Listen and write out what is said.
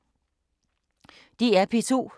DR P2